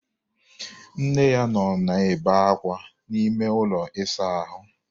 Nne ya nọ na-ebe ákwá n'ime ụlọ ịsa ahụ.